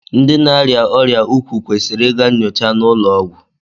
Ndị na-arịa ọrịa nke ukwuu kwesịrị ịga nnyocha n'ụlọọgwụ